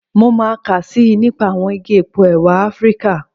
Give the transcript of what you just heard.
Mo máa kà síi nípa àwọn igi epo ẹ̀wà Afíríkà.